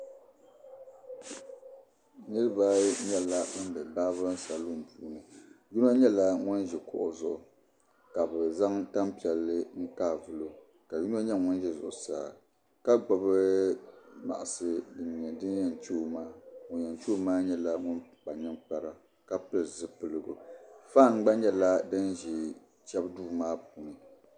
Niraba ayi nyɛla bin bɛ baabirin salun puuni yino nyɛla ŋun ʒi kuɣu zuɣu ka bi zaŋ tanpiɛlli kaai vulo ka yino nyɛ ŋun ʒɛ zuɣusaa ka gbubi maɣasi din nyɛ din yɛn chɛo maa ŋun yɛn chɛo maa nyɛla ŋun kpa ninkpara ka pili zipiligu faan gba nyɛla din ʒɛ chɛbu duu maa puuni